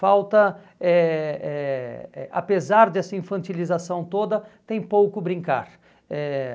Falta, eh eh eh apesar dessa infantilização toda, tem pouco brincar. Eh